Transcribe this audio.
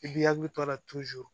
I b'i hakili to a la